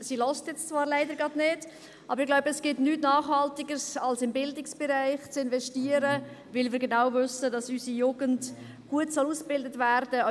Sie hört jetzt zwar leider gerade nicht zu, aber ich glaube, es gibt nichts Nachhaltigeres als im Bildungsbereich zu investieren, weil wir genau wissen, dass unsere Jugend gut ausgebildet werden soll.